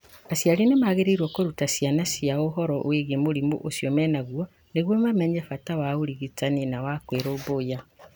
Aciari nĩ magĩrĩirũo kũruta ciana ciao ũhoro wĩgiĩ mũrimũ ũcio menaguo nĩguo mamenye bata wa ũrigitani na wa kwĩrũmbũiya.